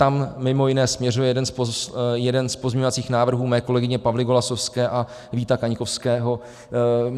Tam mimo jiné směřuje jeden z pozměňovacích návrhů mé kolegyně Pavly Golasowské a Víta Kaňkovského.